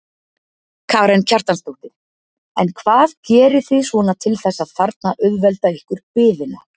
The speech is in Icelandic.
Karen Kjartansdóttir: En hvað gerið þið svona til þess að þarna auðvelda ykkur biðina?